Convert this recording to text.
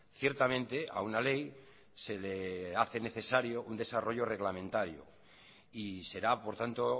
ciertamente a una ley se le hace necesario un desarrollo reglamentario y será por tanto